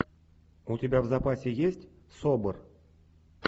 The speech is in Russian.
у тебя в запасе есть собр